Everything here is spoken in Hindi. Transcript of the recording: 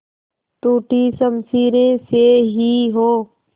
टूटी शमशीरें से ही हो